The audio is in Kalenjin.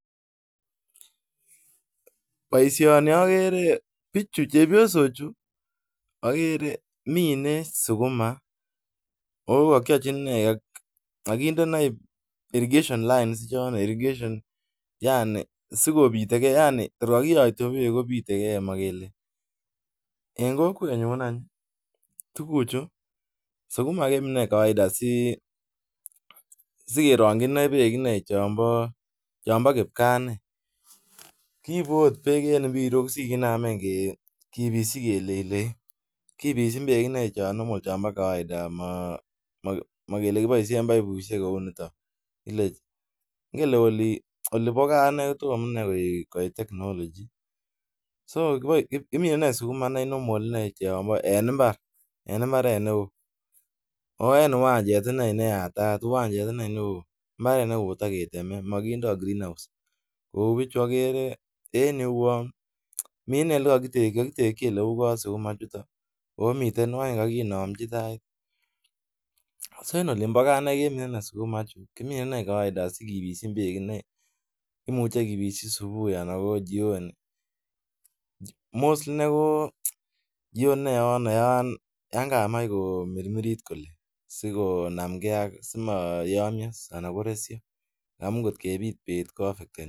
Boisoni agere bichu chepyosochu, agere mine sukuma ako kakiachin um kainde ainy irrigation lines chon irrigation, yaani sikobitekei yaani orakiyate beek kobitekei makele. En kokwet nyun any, tuguchu, sukuma kemine kawaida si-sikerongchin beek any beek ine chonbo-chonbo kipkaa ine. Kiibu angot beek en mpirok sikiname ke-kibisi keleji leji. Kibshin beek ine chon normal chonbo kawaida. Ma-makele kiboisien paipushek kou niton. Ile ingen le ole oli bo gaa kotom koit inee technology. So kimine ne sukuma ne normal nee chonbo en mbar-en mbaret ne oo. Ako en uwanjet ine ne yatat, uwanjet ine inee neoo. Mbaret nekotaketeme, makindoi greenhouse. Kou bichu agere en yeuon min inee ole akitekchi ole uu bo sukuma chitok. Akomite waitat nekakinamchi tait. So en olin bo gaa ine kemine inee sukuma chu, kimine inee kawaida sikibishi beek kawaida inee. Imuche kebishi subui anan ko jioni. Mostly nee ko jioni nee yon-yonkamach komirmirit kole, sikonamgei ak simayamyo anan koresio. Amu ngotkebit beet koafekteni.